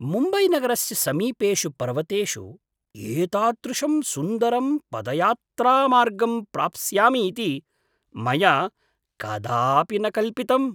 मुम्बैनगरस्य समीपेषु पर्वतेषु एतादृशं सुन्दरं पदयात्रामार्गं प्राप्स्यामि इति मया कदापि न कल्पितम्।